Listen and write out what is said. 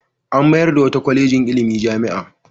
An mayar da wata kwalejin ilimi jami'a.